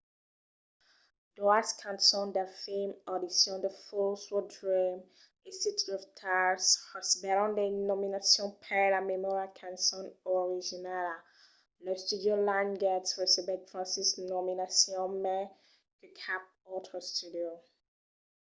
doas cançons del film audition the fools who dream e city of stars recebèron de nominacions per la melhora cançon originala. l'studio lionsgate recebèt 26 nominacions — mai que cap autre studio